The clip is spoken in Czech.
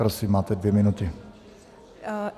Prosím, máte dvě minuty.